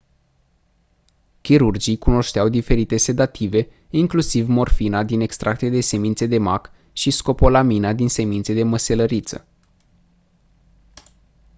chirurgii cunoșteau diferite sedative inclusiv morfina din extracte de semințe da mac și scopolamina din semințe de măselariță